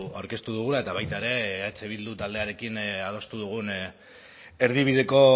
aurkeztu dugula eta baita ere eh bildu taldearekin adostu dugun erdibideko